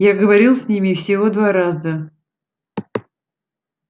я говорил с ними всего два раза